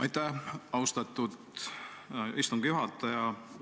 Aitäh, austatud istungi juhataja!